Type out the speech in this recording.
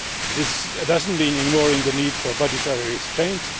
This does not mean ignoring the need for budgetary restraint